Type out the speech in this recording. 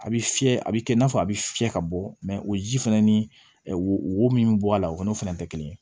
A bɛ fiyɛ a bɛ kɛ i n'a fɔ a bɛ fiyɛ ka bɔ o ji fɛnɛ ni wo min bɛ bɔ a la o n'o fɛnɛ tɛ kelen ye